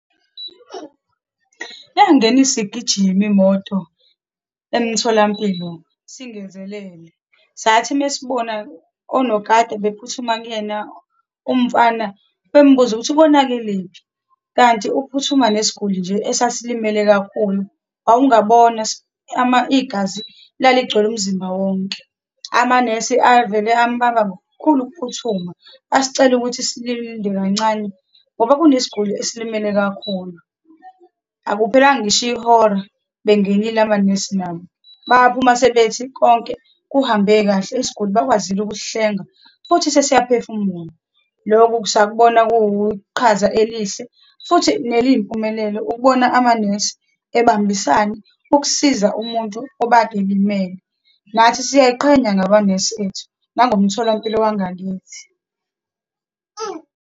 Yangena isigijima imoto emtholampilo, singezelele. Sathi uma sibona onogada bephuthuma kuyena umfana, bembuza ukuthi konakelephi, kanti uphuthuma nesiguli nje esasilimele kakhulu. Wawungabona igazi laligcwele umzimba wonke. Amanesi avele ambamba ngokukhulu ukuphuthuma, asicela ukuthi silinde kancane ngoba kunesiguli esilimele kakhulu. Akuphelanga ngisho ihora, bengenile amanesi nawo, baphuma sebethi konke kuhambe kahle, isiguli bakwazile ukusihlenga, futhi sesiyaphefumula. Lokhu sakubona kuwuqhaza elihle, futhi neliyimpumelelo ukubona amanesi abambisane ukusiza umuntu obade elimele. Nathi siyay'qhenya ngamanesi ethu, nangomtholampilo wangakithi.